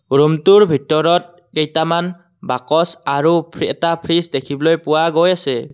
ৰুমটোৰ ভিতৰত কেইটামান বাকচ আৰু এটা ফ্ৰিজ দেখিবলৈ পোৱা গৈ আছে।